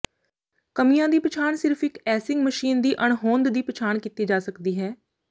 ਕਮੀਆਂ ਦੀ ਪਛਾਣ ਸਿਰਫ ਇਕ ਐਸਿੰਗ ਮਸ਼ੀਨ ਦੀ ਅਣਹੋਂਦ ਦੀ ਪਛਾਣ ਕੀਤੀ ਜਾ ਸਕਦੀ ਹੈ